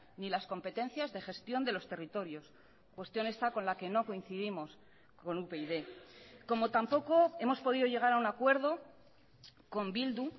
ni las competencias de gestión de los territorios cuestión esta con la que no coincidimos con upyd como tampoco hemos podido llegar a un acuerdo con bildu